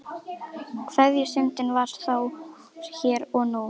Kveðjustundin var þá hér og nú.